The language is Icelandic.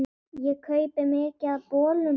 Ég kaupi mikið af bolum.